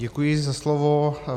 Děkuji za slovo.